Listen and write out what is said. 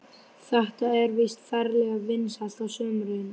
Þetta er víst ferlega vinsælt á sumrin.